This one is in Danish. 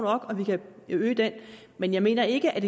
og om vi kan øge den men jeg mener ikke at